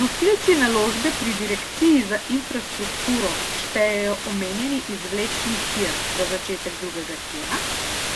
Nosilci naložbe pri direkciji za infrastrukturo štejejo omenjeni izvlečni tir za začetek drugega tira,